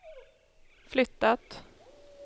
flyttat